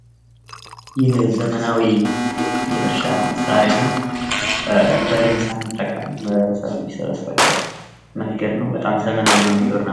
ይህ ዘመናዊ የእርሻ መሳሪያ ነው። በሬን ሳንጠቀም ሰብል የሚሰበስብበት መንገድ ነው። በጣም ዘመናዊ የሆነ የግብርና